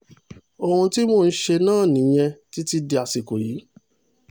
ohun tí mò ń ṣe náà nìyẹn títí dàsìkò yìí